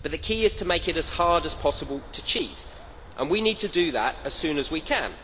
But the key is to make it as hard as possible to cheat, and we need to do that as soon as we can.